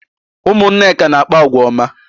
Ụmụ Nneka na-akpa àgwà ọma